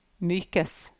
mykes